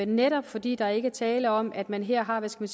netop fordi der ikke er tale om at man her har hvad skal